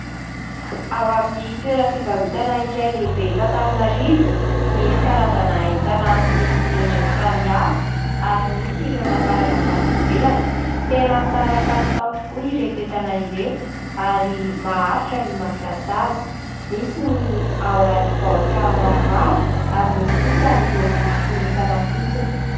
Ao amin'ny toeram-pivarotana iray lehibe eto Antananarivo, misy karazana entana amin'ny endriny samihafa ary misy ireo nafarana avy any ivelany. Tena tsara kalitao tokoa ireto entana ireto ary maharitra ny mampiasa azy. Misy ny ao anaty baoritra maromaro ary misy kosa ireo fonosana fotsiny.